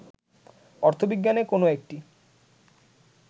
অর্থবিজ্ঞানে কোন একটি